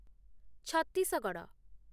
Chhattisgarh